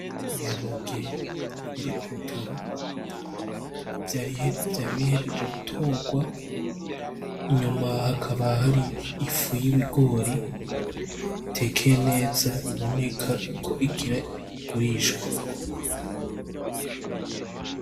Ibiharage biri kurutaro vyari bihejeje gutorwa inyuma hakaba hari imifu y'ibigori itekeye neza biboneka y'uko igira igurishwe.